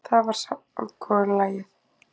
Það var samkomulagið.